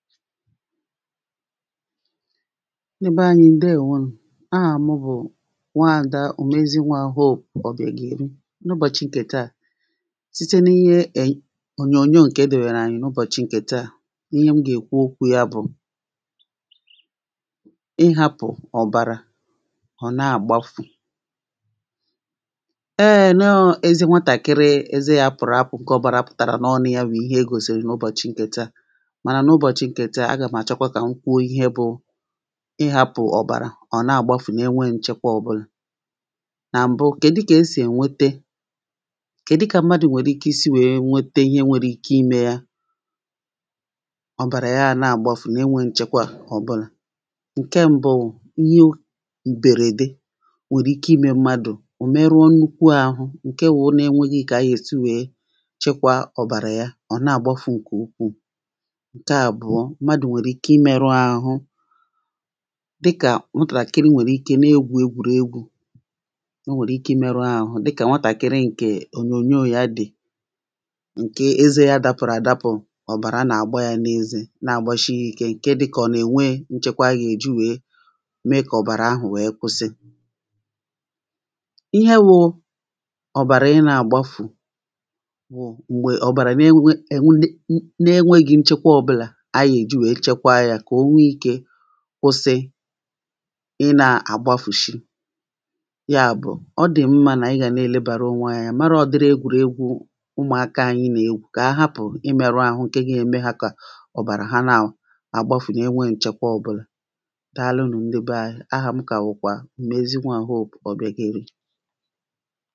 ndị bee anyị ǹdewō nù ahà mụ bụ̀ nwa ada òmezigboahò ọ̀biàgèli n’ubòchì ǹkè taà site n’ihe ònyònyo ǹkè edèbèrè ànyị n’ụbọ̀chì ǹkè taá ihe m gà èkwu okwu ya bụ̀ ihapụ̀ òbàrà ọ̀ na-àgbafù ee nọọ ezi nwatàkiri ezē yā pụ̀rụ̀ apụ̀ ǹke ọ̀bàrà pụ̀tàrà n’ọnụ̄ wụ̀ ihe egòsìrì n’ụbọ̀chì ǹkè taa mànà ụbọ̀chì ǹkè taa agàm àchọkwa kà m kwuo ihe bụ ị hapụ̀ ọ̀bàrà ọ̀ n’àgbafù n’enweghị nchekwe ọbụlà nà m̀bụ kèdu kà esì ènwete kèdu kà mmadụ̀ nwèrè ike isi wee nwete ihe nwere ike imē yā ọ̀bàrà yā na-àgbafù n’enwe nchekwa ọ̀bụnà ǹke m̀bụ ihe m̀bèrède nwèrè ike imē mmadụ̀ ọ̀ meruo nnukwu ahụ̄ ǹke wụ nà ònweghi kà a yà èsi wee chikwa ọ̀bàrà yā ọ̀ na-àgbafù ǹkè ukwuù ǹke àbụ̀ọ mmadụ̀ nwèrè ike imeru ahụ̄ dị kà nwatakịrị nwèrụ̀ ike na-egwù egwùriegwu ọ nwèrụ̀ ike imerụ ahụ̄ dị kà nwatakịrị ǹke ònyònyo dị ǹke ezē yā dapụ̀rụ̀ àdapụ̀ ọ̀bàrà nà-àgba yā n’ezē na-àgbashi ikē ǹke dị kà ọ̀ nà nwe nchekwa agà èji wee mee kà ọ̀bàrà ahụ̀ wee kwusi ihe wụ ọ̀bàrà ị na-àgbafù wụ̣̀̀ m̀gbè ọ̀bàrà n’enwegi nchekwe ọbụlà a gà èji wee chekwa yā kà o nwe ikē kwusi ị na-àgbafùshi yā bụ̀ ọdi mma n’ànyị gà n’èlebanụ onwe anyị anya marụ ụ̀dịrị egwùregwu ụmụ̀akā anyị̄ nà-egwù kà ha hapụ̀ ị merụ ahụ̄ ǹke ga eme ha kà ọ̀bàrà ha na-àgbafù n’enwe nchekwa ọbụlà dàalụ ndị bee anyị ahá m kà bụ̀ kwà òmezigboahò ọ̀biàgèli